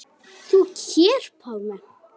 Þú hér, Pálmi.